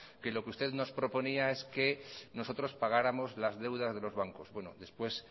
que lo que usted nos proponía es que nosotros pagáramos las deudas de los bancos después